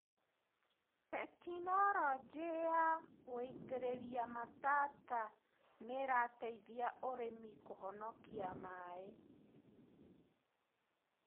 Tekinologĩ ya gũitĩrĩria matata nĩirateithia arĩmi kũhokia maĩ.